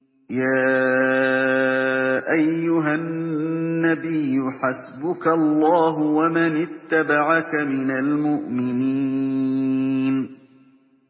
يَا أَيُّهَا النَّبِيُّ حَسْبُكَ اللَّهُ وَمَنِ اتَّبَعَكَ مِنَ الْمُؤْمِنِينَ